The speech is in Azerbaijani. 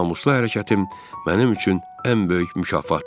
Namuslu hərəkətim mənim üçün ən böyük mükafatdır.